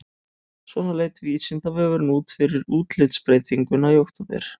Svona leit Vísindavefurinn út fyrir útlitsbreytinguna í október.